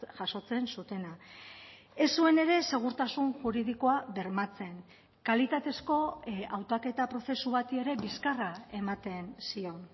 jasotzen zutena ez zuen ere segurtasun juridikoa bermatzen kalitatezko hautaketa prozesu bati ere bizkarra ematen zion